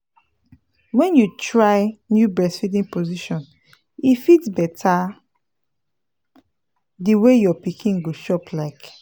when you try new breastfeeding position e fit better the way your pikin go chop like